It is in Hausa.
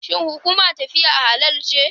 Shin hukumar tafiya halal ce?